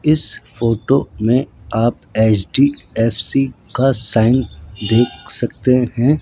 इस फोटो में आप एच_डी_एफ_सी का साइन देख सकते हैं।